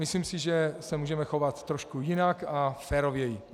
Myslím si, že se můžeme chovat trošku jinak a férověji.